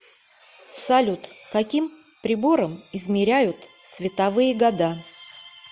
салют каким прибором измеряют световые года